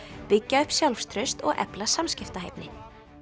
byggja upp sjálfstraust og efla samskiptahæfni